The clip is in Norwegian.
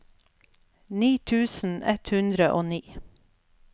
ni tusen ett hundre og ni